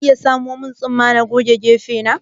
Za ka iya samo min tsumma na goge keke na